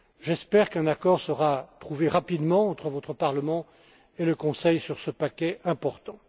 J'espère qu'un accord sera trouvé rapidement entre votre Parlement et le Conseil sur ce paquet important.